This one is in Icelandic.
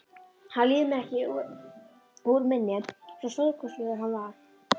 Hann líður mér ekki úr minni, svo stórkostlegur var hann.